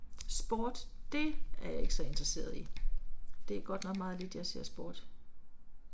Sport, det er jeg ikke så interessert i, det er godt nok meget lidt jeg ser sport